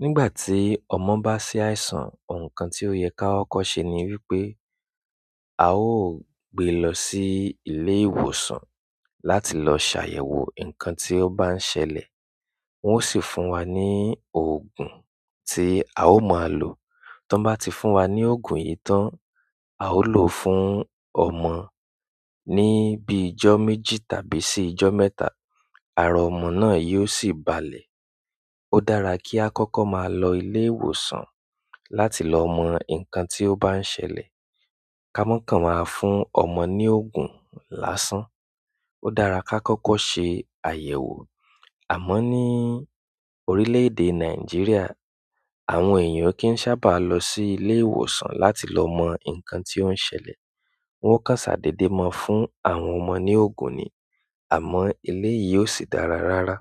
Nígbà tí ọmọ bá ṣàìsàn, ohun kan tí ó yẹ ká kọ́ ṣe ni wípé a ó gbé lọ sí ilé ìwòsàn láti lọ ṣàyẹ̀wò nǹkan tí ó bá ń ṣẹlẹ̀. Won o si fún wa ni oogun ti a o maa lo tí wọ́n bá ti fún wa ní òògùn yìí tán, a ó lò ó fún ọmọ. Ni bíi ìjọ́ méjì tàbí sì ìjọ́ mẹ́ta, ara ọmọ náà yóò sì balẹ̀. Ó dára kí á kọ́kọ́ máa lọ ilé ìwòsàn láti lọ mọ nǹkan tí ó bá ń ṣẹlẹ̀, ká mọ̀ ká máa fún ọmọ ní òògùn lásán. Won o si fún wa ni oogun ti a o maa lo. Àmọ́ ní orílẹ̀-èdè Nàìjíríà, àwọn èèyàn kì í sábà lọ sí ilé ìwòsàn láti lọ mọ nǹkan tí ó ń ṣẹlẹ̀. Wọ́n kán ṣàdédèmo fún àwọn ọmọ ní òògùn ni, àmọ́ eleyìí ó sì dára rárá.